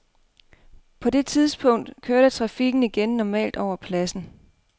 På det tidspunkt kørte trafikken igen normalt over pladsen.